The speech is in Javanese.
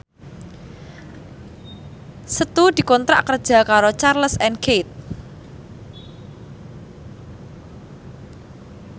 Setu dikontrak kerja karo Charles and Keith